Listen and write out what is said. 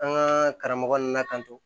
An ka karamɔgɔ ninnu latanto